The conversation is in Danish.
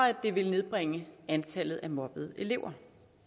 at det vil nedbringe antallet af mobbede elever